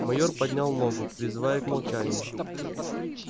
мойер поднял ногу призывая к молчанию